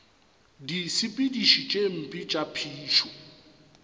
disepediši tše mpe tša phišo